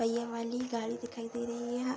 पहिये वाली गाड़ी दिखाई दे रही है।